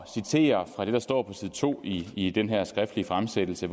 citere fra det der står på side to i i den her skriftlige fremsættelse